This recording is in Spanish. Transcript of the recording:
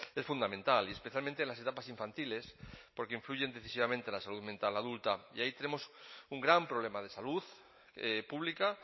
es fundamental y especialmente en las etapas infantiles porque influyen decisivamente en la salud mental adulta y ahí tenemos un gran problema de salud pública